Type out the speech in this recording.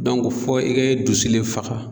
fɔ i ka i dusu le faga.